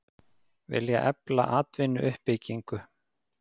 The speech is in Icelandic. Vilja efla atvinnuuppbyggingu